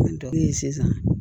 sisan